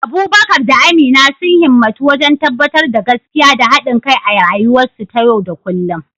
Abubakar da Amina sun himmatu wajen tabbatar da gaskiya da haɗin kai a rayuwarsu ta yau da kullum.